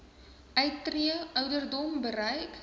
uittree ouderdom bereik